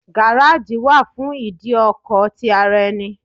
Garaji wà fún ìdí ọkọ̀ ti ara ẹni.